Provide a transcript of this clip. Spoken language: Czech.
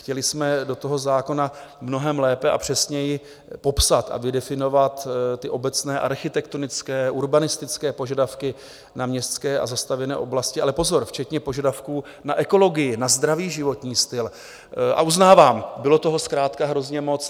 Chtěli jsme do toho zákona mnohem lépe a přesněji popsat a vydefinovat ty obecné architektonické, urbanistické požadavky na městské a zastavěné oblasti, ale pozor, včetně požadavků na ekologii, na zdravý životní styl, a uznávám, bylo toho zkrátka hrozně moc.